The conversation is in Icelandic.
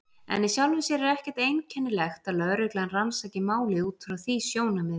En í sjálfu sér er ekkert einkennilegt að lögreglan rannsaki málið út frá því sjónarmiði.